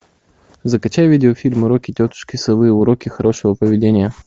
закачай видеофильм уроки тетушки совы уроки хорошего поведения